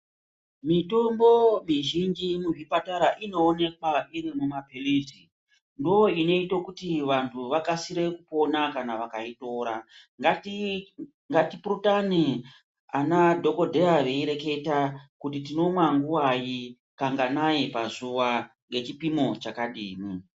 Mitombo mizhinji muzvipatara inoonekwa iri mumapilizi ndoinoita kuti vanthu vakasire kupona kana vakaitora ngatipurutane anadhokodheya veireketa kuti tinomwa nguwayi kanganai pazuwa ngechipimo chakadini.